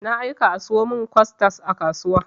Na aika a sayo min costad a kasuwa.